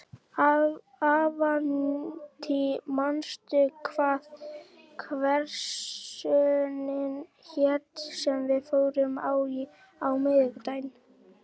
Avantí, manstu hvað verslunin hét sem við fórum í á miðvikudaginn?